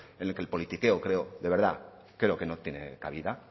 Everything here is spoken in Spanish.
en el que el politiqueo creo de verdad creo que no tiene cabida